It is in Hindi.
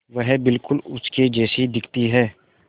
वह बिल्कुल उसके जैसी दिखती है